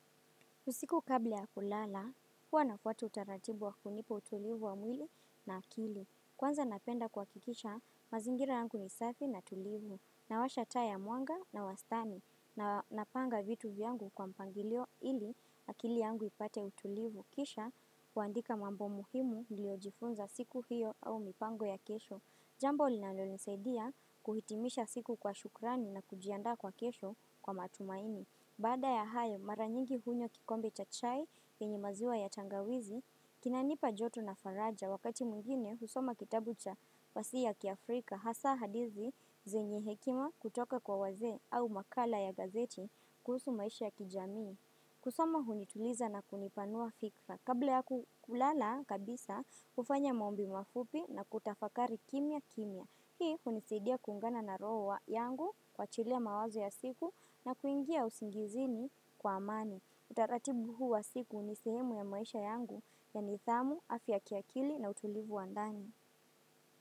Kusiku kabla ya kulala, huwa na fwata utaratibu wa kunipa utulivu wa mwili na akili. Kwanza napenda kuhakikisha, mazingira yangu ni safi na tulivu. Nawasha taa ya mwanga na wastani na napanga vitu vyangu kwa mpangilio ili akili yangu ipate utulivu. Kisha, huandika mambo muhimu niliojifunza siku hiyo au mipango ya kesho. Jambo linalonisaidia kuhitimisha siku kwa shukrani na kujianda kwa kesho kwa matumaini. Bada ya hayo maranyingi hunywa kikombe cha chai chenye maziwa ya tangawizi, kinanipa joto na faraja wakati mwingine husoma kitabu cha fasii ya kiafrika hasa hadithi zenye hekima kutoka kwa wazee au makala ya gazeti kusu maisha ya kijamii. Kusoma hunituliza na kunipanua fikra. Kabla ya kulala kabisa, ufanya maombi mafupi na kutafakari kimya kimya. Hii hunisidia kungana na roho yangu kuachilia mawazo ya siku na kuingia usingizini kwa amani. Utaratibu huu wa siku nisehemu ya maisha yangu ya nidhamu, afya kiakili na utulivu wa ndani.